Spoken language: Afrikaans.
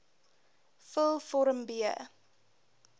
vul vorm b